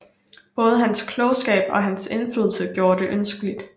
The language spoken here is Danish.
Både hans klogskab og hans indflydelse gjorde det ønskeligt